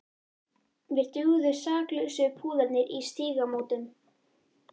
Mér dugðu saklausu púðarnir í Stígamótum!